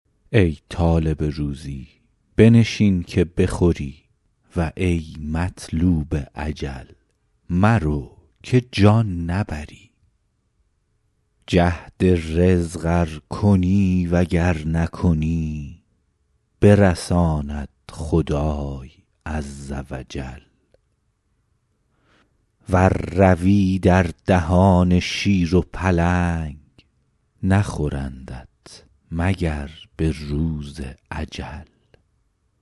ای طالب روزی بنشین که بخوری و ای مطلوب اجل مرو که جان نبری جهد رزق ار کنی و گر نکنی برساند خدای عز و جل ور روی در دهان شیر و پلنگ نخورندت مگر به روز اجل